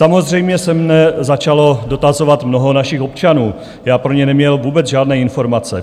Samozřejmě se mě začalo dotazovat mnoho našich občanů, já pro ně neměl vůbec žádné informace.